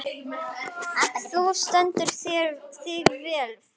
Þú stendur þig vel, Fura!